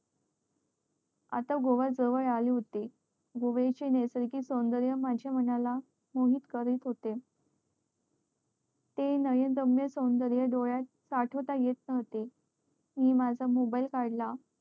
आता गोवा जवळ आले होते गोव्या चे नयसर्गिग सोंदर्य माझ्या मनाला मोहित करत होते ते नयन दम्य सौंदर्य डोळ्यात साठवता येत नव्हते मी माझा mobile काढला